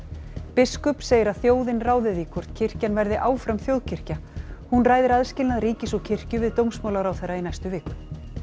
biskup segir að þjóðin ráði því hvort kirkjan verði áfram þjóðkirkja hún ræðir aðskilnað ríkis og kirkju við dómsmálaráðherra í næstu viku